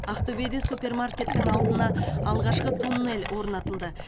ақтөбеде супермаркеттің алдына алғашқы туннель орнатылды